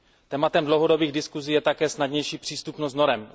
Tématem dlouhodobých diskusí je také snadnější přístupnost norem.